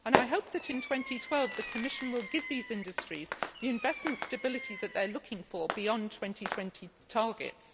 I hope that in 2012 the Commission will give these industries the investment stability that they are looking for beyond 2020 targets.